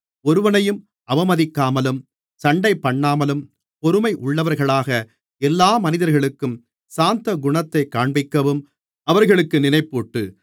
ஒருவனையும் அவமதிக்காமலும் சண்டைபண்ணாமலும் பொறுமையுள்ளவர்களாக எல்லா மனிதர்களுக்கும் சாந்தகுணத்தைக் காண்பிக்கவும் அவர்களுக்கு நினைப்பூட்டு